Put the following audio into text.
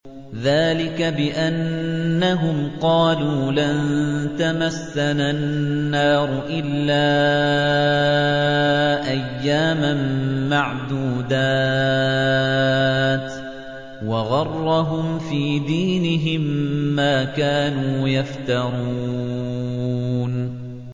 ذَٰلِكَ بِأَنَّهُمْ قَالُوا لَن تَمَسَّنَا النَّارُ إِلَّا أَيَّامًا مَّعْدُودَاتٍ ۖ وَغَرَّهُمْ فِي دِينِهِم مَّا كَانُوا يَفْتَرُونَ